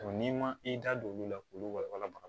n'i ma i da don olu la k'olu walawala